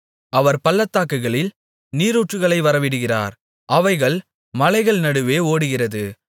அவர் பள்ளத்தாக்குகளில் நீரூற்றுகளை வரவிடுகிறார் அவைகள் மலைகள் நடுவே ஓடுகிறது